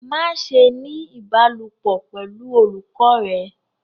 Maṣe ni ibalopọ pẹlu olukọ rẹ